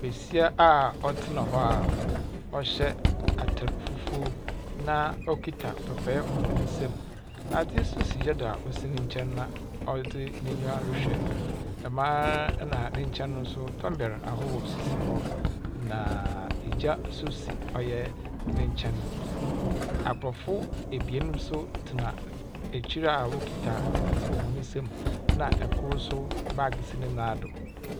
Besia a ɔtsena hɔ a ɔhyɛ atar fufuo na ɔkita papaɛ wɔ ne nsamu. Adze nso si gya do a osi ne nkyɛn na ɔdze n'enyiwa rehwɛ. Dɛm ara na ne nkyɛn nso tomber ahorow sisi hɔ. Naaaa . Gya nso si ɔya ne nkyɛn. Aborɔfo ebien nso tsena ekyir a wokita adze wɔ hɔn nsamu, na kor nso baage si ne nan do.